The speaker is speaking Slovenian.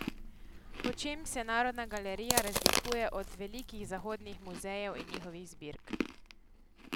Po čem se Narodna galerija razlikuje od velikih zahodnih muzejev in njihovih zbirk?